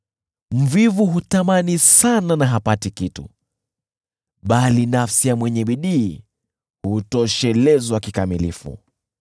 Mvivu hutamani sana na hapati kitu, bali nafsi ya mwenye bidii hutoshelezwa kikamilifu.